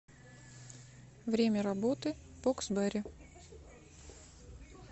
время работы боксберри